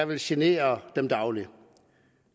vil genere dem dagligt